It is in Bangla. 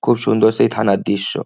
খুব সুন্দর সেই থানার দৃশ্য।